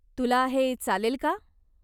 तुला हे चालेल का?